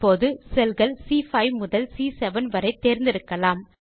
இப்போது செல் கள் சி5 முதல் சி7 வரை தேர்ந்தெடுக்கலாம்